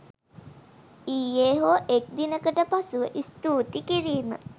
ඊයෙ හෝ එක් දිනකට පසුව ස්තුති කිරීම